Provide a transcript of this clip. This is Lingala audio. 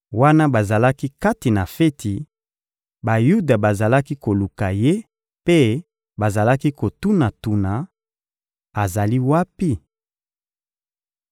Wana bazalaki kati na feti, Bayuda bazalaki koluka Ye mpe bazalaki kotuna-tuna: «Azali wapi?»